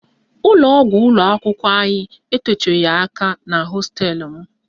Ụlọgwụ ụlọakwụkwọ anyị etoghi aka na hosteelụ m